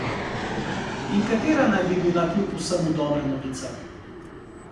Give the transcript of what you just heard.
In katera naj bi bila kljub vsemu dobra novica?